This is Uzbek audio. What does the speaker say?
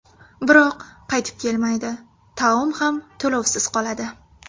Biroq, qaytib kelmaydi, taom ham to‘lovsiz qoladi.